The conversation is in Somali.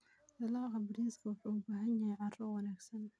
Dalagga bariiska wuxuu u baahan yahay carro wanaagsan.